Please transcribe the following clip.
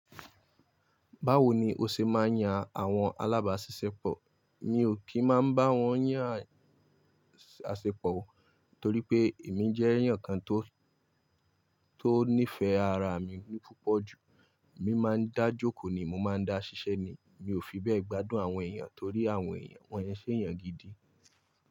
Báwo ni o ṣe máa ń yan àwọn alábàáṣiṣẹ́pọ̀? Mi ò kí ń máa bá wọn yàn àṣepọ̀ o, torí pé èmi jẹ́ èèyàn kan tó, tó nífẹ̀ẹ́ ara mi púpọ̀ jù. Mi máa ń dájókòó ni mo máa ń dá ṣiṣẹ́ ni. Mi ò fi bẹ́ẹ̀ gbádùn àwọn èèyàn torí àwọn èèyàn, wọ́n i ṣe èèyàn gidi.